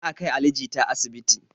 Za a kai ali jita asibiti